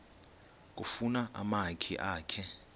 kufuna umakhi akhe